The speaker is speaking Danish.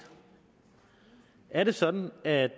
er det sådan at